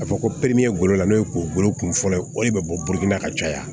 Ka fɔ ko golo n'o ye kungolo kun fɔlɔ ye o de bɛ bɔ na ka caya